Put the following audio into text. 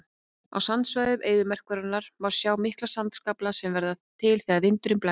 Á sandsvæðum eyðimerkurinnar má sjá mikla sandskafla sem verða til þegar vindurinn blæs.